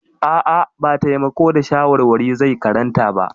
A'a, ba taimako da shawarwari zai karanta ba.